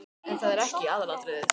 En það er ekki aðalatriðið.